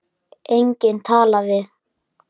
Enginn að tala við.